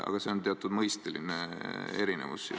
Aga see on teatud mõisteline erinevus.